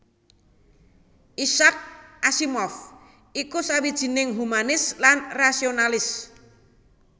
Isaac Asimov iku sawijining humanis lan rasionalis